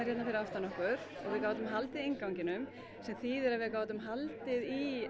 hérna fyrir aftan okkur og við gátum haldið innganginum það þýðir að við gátum haldið